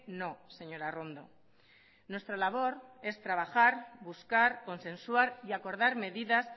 no señora arrondo nuestra labor es trabajar buscar consensuar y acordar medidas